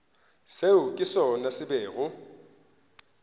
seo ke sona se bego